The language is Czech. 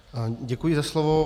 Děkuji za slovo.